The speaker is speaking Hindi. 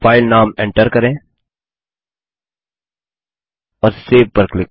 फाइल नाम एन्टर करें और सेव पर क्लिक करें